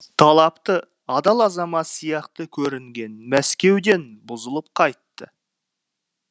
талапты адал азамат сияқты көрінген мәскеуден бұзылып қайтты